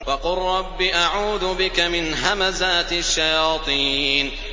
وَقُل رَّبِّ أَعُوذُ بِكَ مِنْ هَمَزَاتِ الشَّيَاطِينِ